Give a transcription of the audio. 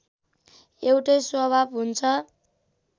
एउटै स्वभाव हुन्छ